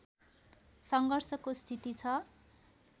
सङ्घर्षको स्थिति छ